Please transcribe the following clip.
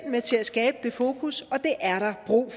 med til at skabe et fokus og det er der brug